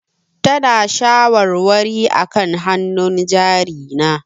Tana ta shawarwari akan hannun jari na.